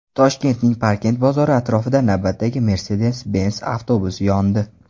Toshkentning Parkent bozori atrofida navbatdagi Mercedes-Benz avtobusi yondi.